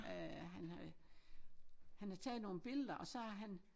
Øh han havde han havde taget nogle billeder og så havde han